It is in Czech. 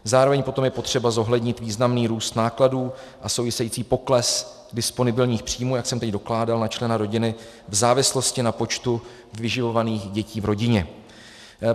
Zároveň potom je potřeba zohlednit významný růst nákladů a související pokles disponibilních příjmů, jak jsem teď dokládal, na člena rodiny v závislosti na počtu vyživovaných dětí v rodině.